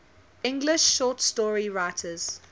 english short story writers